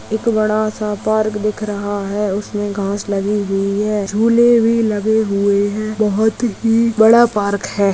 एक बड़ा सा पार्क दिख रहा है उसमें घास लगी हुई है झूले भी लगे हुए हैं बहुत ही बड़ा पार्क है।